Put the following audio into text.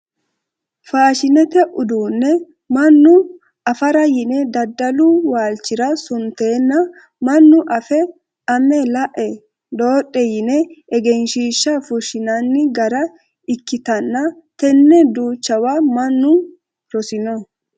Faashinete uduune mannu afara yine daddalu waalchira suntenna manna affe ame lae dodhe yine egenshiishsha fushinanni gara ikkittanna tene duuchawa mannu rosino.